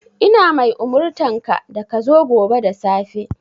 Ina mai umurtanka da ka zo gobe da safe!